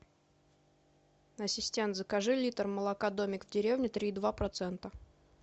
ассистент закажи литр молока домик в деревне три и два процента